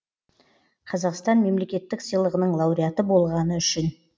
қазақстан мемлекеттік сыйлығының лауреаты болғаны үшін